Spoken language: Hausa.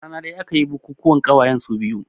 Rana ɗaya aka yi bukukuwan ƙawayen su biyu